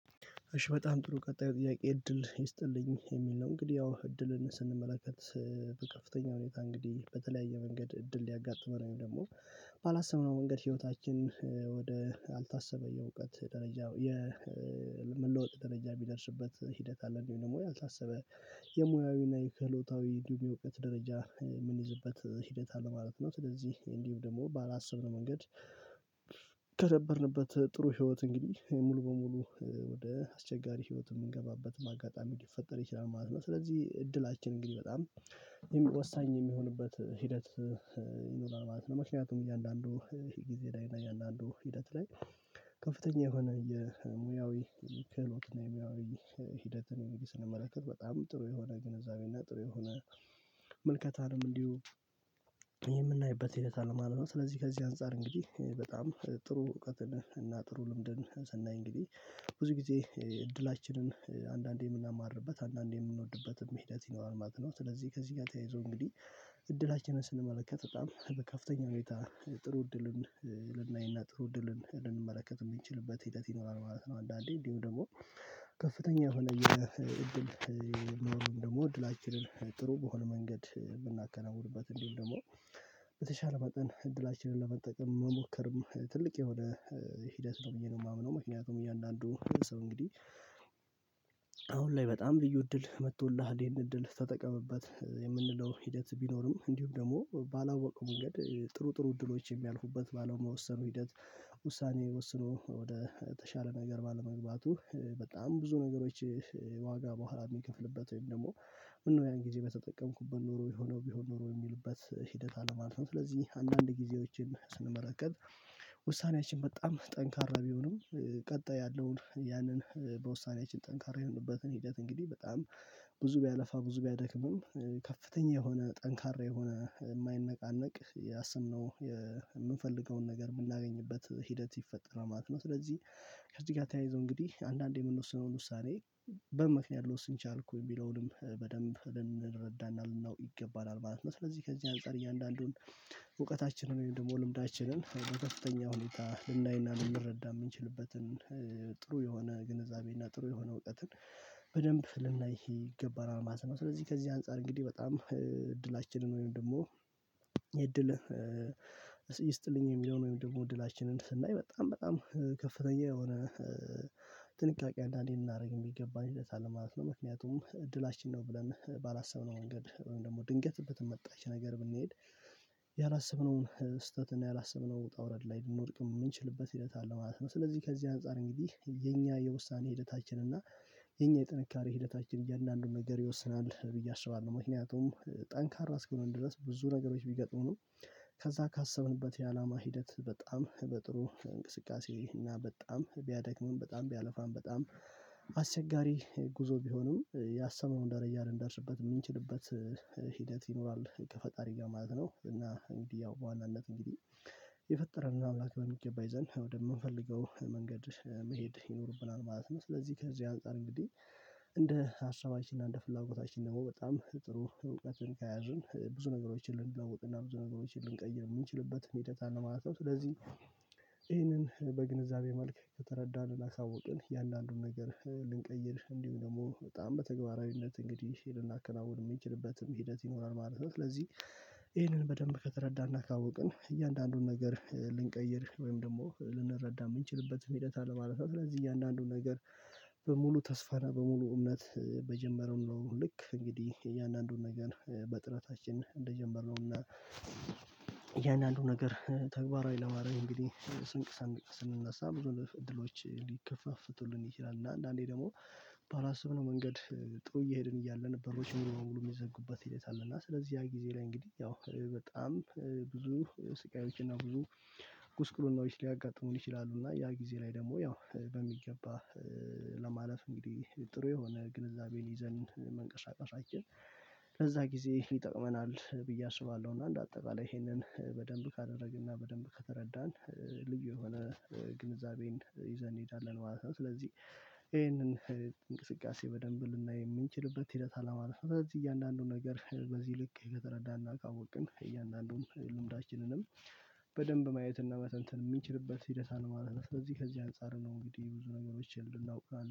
እሺ በጣም ጥሩ ቀጣይ ጥያቄ እድል ይስጥልኝ የሚል ነው። እንግዲህ ያው እድልን ስንመለከት በከፍተኛ ሁኔታ እንግዲህ በተለያየ መንገድ እድል ሊያጋጥመን ወይም ደግሞ ባላሰብነው መንገድ ህይወታችን ወደ አልታሰበው የእውቀት ደረጃ የመለወጥ ደረጃ የሚደርስበት ሂደት አለን? ወይ አልታሰበ የሙያዊና የክህሎታዊ እንዲሁም የእውቀት ደረጃ የምንይዝበት ሂደት አለ ማለት ነው። ስለዚህ እንዲሁም ደግሞ ባላሰብነው መንገድ። ከነበርንበት ጥሩ ህይወት እንግዲህ ሙሉ በሙሉ ወደ አስቸጋሪ ህይወት የምንገባበት አጋጣሚ ሊፈጠር ይችላል ማለት ነው። ስለዚህ እድላችን እንግዲህ በጣም ወሳኝ የሚሆንበት ሂደት ይኖራል ማለት ነው። ምክንያቱም እያንዳንዱ ይሄ ጊዜ ላይ እና እያንዳንዱ ሂደት ላይ። ከፍተኛ የሆነ የሙያዊ ክህሎት እና የሙያዊ ሂደት እኔ ስንመለከት በጣም ጥሩ የሆነ ግንዛቤና ጥሩ የሆነ ምልከታ ነው እንዲሁ የምናይበት ሂደት አለ ማለት ነው። ስለዚህ ከዚህ አንፃር እንግዲህ በጣም ጥሩ እውቀትን እና ጥሩ ልምድን ስናይ እንግዲህ ብዙ ጊዜ እድላችንን አንዳንዴ የምናማርርበት አንዳንዴ የምንወድበትን መንገድ አልነበረም። ስለዚህ ከዚህ ጋር ተያይዞ እንግዲህ እድላችንን ስንመለከት በጣም በከፍተኛ ሁኔታ ጥሩ እድልን ልናይና ጥሩ እድልን ልንመለከት የምንችልበት ሂደት ይኖራል ማለት ነው። አንዳንዴ እንዲሁም ደግሞ ከፍተኛ እሆነ እድል ኖሮን ደግሞ እድላችንን ጥሩ በሆነ መንገድ ብናከናውንበት እንዲህ ደግሞ በተሻለ መጠን እድላችንን ለመጠቀም መሞከርም ትልቅ የሆነ ሂደት ነው ብዬ ነው የማምነው። ምክንያቱም እያንዳንዱ ሰው እንግዲህ አሁን ላይ በጣም ልዩ እድል መጥቶልሃል ይሄንን እድል ተጠቀምበት የምንለው ሂደት ቢኖርም እንዲሁም ደግሞ ባላወቀው ጥሩ ጥሩ እድሎች የሚያልፉበት ባለመወሰኑ ሂደት። ውሳኔ ወስኖ ወደ ተሻለ ነገር ባለመግባቱ በጣም ብዙ ነገሮች ዋጋ በኋላ የሚከፍልበት ወይም ደግሞ ምነው ያን ጊዜ በተጠቀምኩበት ኖሮ የሆነው ቢሆን ኖሮ የሚሉበት ሂደት አለ ማለት ነው። ስለዚህ አንዳንድ ጊዜዎችን ስንመለከት ውሳኔያችን በጣም ጠንካራ ቢሆንም ቀጣይ ያለውን ያንን በውሳኔያችን ጠንካራ የሆንንበትን ሂደት እንግዲህ በጣም ብዙ ቢያለፋ ብዙ ቢያደክምም ከፍተኛ የሆነ ጠንካራ የሆነ የማይነቃነቅ ያሰብነውን የምንፈልገውን ነገር የምናገኝበት ሂደት ይፈጠራል ማለት ነው። ስለዚህ ከዚህ ጋር ተያይዞ እንግዲህ አንዳንዴ የምንወስነውን ውሳኔ በምክንያት መወሰን ቻልኩ የሚለውንም በደንብ የምንረዳው ነው ይገባል ማለት ነው። ስለዚህ ከዚህ አንፃር እያንዳንዱን እውቀታችንን ደግሞ ልምዳችንን በከፍተኛ ሁኔታ ልናይና ልንረዳ የምንችልበትን ጥሩ የሆነ ግንዛቤና ጥሩ የሆነ እውቀትን በደንብ ልናይ ይገባናል ማለት ነው። ስለዚህ ከዚህ አንፃር እንግዲህ በጣም እድላችንን ወይም ደግሞ የእድል ይስጥልኝ የሚለውን ወይም ደግሞ እድላችንን ስናይ በጣም በጣም ከፍተኛ የሆነ ጥንቃቄ ልናደርግበት የሚገባን መልስ አለ ማለት ነው። ምክንያቱም እድላችን ነው ብለን ባላሰብነው መንገድ ወይም ደግሞ ድንገት እንደተመጣች ነገር ብንሄድ ያላሰብነውን ስህተት እና ያላሰብነው ወጣ ውረድ ላይ የምንወድቅም የምንችልበት ሂደት አለ ማለት ነው። ስለዚህ ከዚህ አንፃር እንግዲህ የኛ የውሳኔ ሂደታችን እና የኛ የጥንካሬ ሂደታችን እያንዳንዱን ነገር ይወስናል ብዬ አስባለሁ። ምክንያቱም ጠንካራ እስከሆን ድረስ ብዙ ነገሮች ቢገጥሙ ከዛ ካሰብንበት የአላማ ሂደት በጣም በጥሩ እንቅስቃሴ እና በጣም ቢያደክመን በጣም ቢያለፋን በጣም አስቸጋሪ ጉዞ ቢገጥመንም ያሰብነውን ደረጃ ልንደርስበት የምንችልበት ሂደት ይኖራል ከፈጣሪ ጋር ማለት ነው። እና እንግዲህ ያው በዋናኛነት እንግዲህ የፈጠረን አምላክ በሚገባ ይዘን ወደምንፈልገው መንገድ መሄድ ይኖርብናል ማለት ነው። ስለዚህ ከዚህ አንፃር እንግዲህ እንደ ሀሳባችን እንደ ፍላጎታችን ደግሞ በጣም ጥሩ እውቀትን ከያዝን ብዙ ነገሮችን ልንለውጥ እና ብዙ ነገሮችን ልንቀይር የምንችልበት መንገድ አለ ማለት ነው። ስለዚህ ይሄንን በግንዛቤ መልክ ከተረዳን ካወቅን ያንዳንዱን ነገር ልንቀይር እንዲሁ ደግሞ በጣም በተግባራዊነት እንግዲህ ልናከናውን የምንችልበትም ሂደት ይኖራል ማለት ነው። ስለዚህ ይሄንን በደንብ ከተረዳን እና ካወቅን እያንዳንዱን ነገር ልንቀይር ወይም ደግሞ ልንረዳ የምንችልበት መንገድ አለ ማለት ነው። ስለዚህ እያንዳንዱን ነገር በሙሉ ተስፋ ነው በሙሉ እውነት በጀመረው ነው። ልክ እንግዲህ የእያንዳንዱን ነገር በጥረታችን እንደጀመርነው እና ያን አንዱ ነገር ተግባራዊ ለማድረግ እንግዲህ ስንቅ ሰንቀን ስንነሳ ብዙ እድሎች ሊከፋፈቱልን ይችላል። እና አንዳንዴ ደግሞ ባላሰብነው መንገድ ጥሩ እየሄድን እያለን በሮች ሙሉ ሙሉ የሚዘጉበት ይሆናል። እና ስለዚህ ያ ጊዜ ላይ እንግዲህ ያው በጣም ብዙ ስቃዮች እና ብዙ ጉስቁልናዎች ሊያጋጥሙን ይችላሉ። እና ያ ጊዜ ላይ ደግሞ ያው በሚገባ ለማለት እንግዲህ ጥሩ የሆነ ግንዛቤን ይዘን መንቀሳቀሳችን ለዛ ጊዜ ይጠቅመናል ብዬ አስባለሁ። እና እንደ አጠቃላይ ይሄንን በደንብ ካደረግን እና በደንብ ከተረዳን ልዩ የሆነ ግንዛቤን ይዘን እንሄዳለን ማለት ነው። ስለዚህ ይሄንን እንቅስቃሴ በደንብ ልናይ የምንችልበት ሂደት አለ ማለት ነው። ስለዚህ እያንዳንዱን ነገር በዚህ ልክ ከተረዳን እናውቀዋለን እያንዳንዱን ልምዳችንንም በደንብ ማየት መተንተን የምንችልበት ሂደት ነው ማለት ነው። ስለዚህ ከዚህ አንፃር ነው እንግዲህ ብዙ ነገሮች እናውቃለን